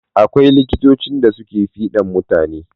Akwai likitocin da suke fiɗan mutane.